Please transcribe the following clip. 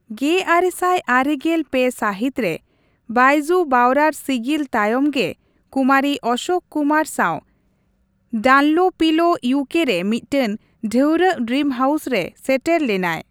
ᱜᱮᱟᱨᱮ ᱥᱟᱭ ᱟᱨᱮᱜᱮᱞ ᱯᱮ ᱥᱟᱹᱦᱤᱛ ᱨᱮ, ᱵᱚᱭᱡᱩ ᱵᱟᱣᱨᱟᱨ ᱥᱤᱜᱤᱞ ᱛᱟᱭᱚᱢ ᱜᱮ, ᱠᱩᱢᱟᱨᱤ ᱳᱥᱳᱠ ᱠᱩᱢᱟᱨ ᱥᱟᱣ ᱰᱟᱱᱞᱳᱯᱤᱞᱳ ᱤᱭᱩᱠᱮ ᱨᱮ ᱢᱤᱫᱴᱟᱝ ᱰᱷᱟᱹᱨᱣᱟᱹᱜ ᱰᱨᱤᱢ ᱦᱟᱣᱩᱥ ᱨᱮ ᱥᱮᱴᱮᱨ ᱞᱮᱱᱟᱭ ᱾